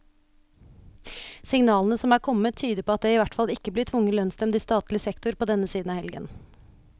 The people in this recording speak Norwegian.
Signalene som er kommet, tyder på at det i hvert fall ikke blir tvungen lønnsnevnd i statlig sektor på denne siden av helgen.